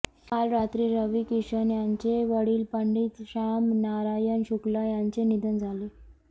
काल रात्री रवी किशन यांचे वडील पंडित श्यामनारायण शुक्ला यांचे निधन झाले